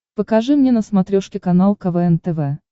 покажи мне на смотрешке канал квн тв